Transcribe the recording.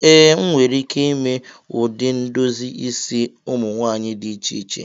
Ee, m nwere ike ime ụdị ndozi isi ụmụ nwanyị dị iche iche